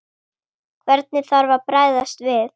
Hvernig þarf að bregðast við?